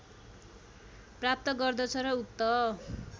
प्राप्त गर्दछ र उक्त